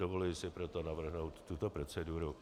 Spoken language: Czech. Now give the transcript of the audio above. Dovoluji si proto navrhnout tuto proceduru.